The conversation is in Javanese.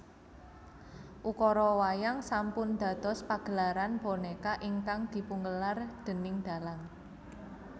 Ukara wayang sampun dados pagelaran bonéka ingkang dipungelar déning dhalang